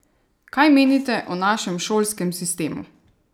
Kaj menite o našem šolskem sistemu?